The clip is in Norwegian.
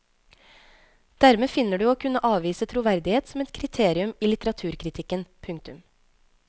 Dermed finner du å kunne avvise troverdighet som et kriterium i litteraturkritikken. punktum